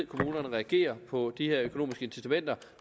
kommunerne reagerer på de her økonomiske incitamenter